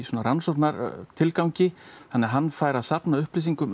rannsóknartilgangi þannig að hann fær að safna upplýsingum